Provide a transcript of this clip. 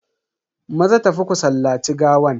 Maza tafi ku sallaci gawan.